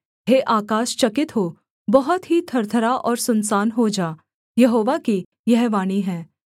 हे आकाश चकित हो बहुत ही थरथरा और सुनसान हो जा यहोवा की यह वाणी है